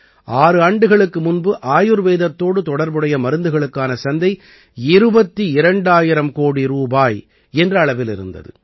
ஆறு ஆண்டுகளுக்கு முன்பு ஆயுர்வேதத்தோடு தொடர்புடைய மருந்துகளுக்கான சந்தை 22000 கோடி ரூபாய் என்ற அளவில் இருந்தது